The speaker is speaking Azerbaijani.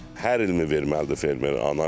Hər ilmi verməlidir fermer analiz?